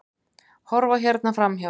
Horfa hérna framhjá!